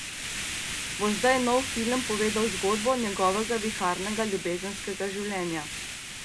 Bo zdaj nov film povedal zgodbo njegovega viharnega ljubezenskega življenja?